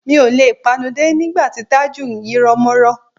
Mi ò le panudé nígbà tí Tájù ń yírọ́mọ́rọ́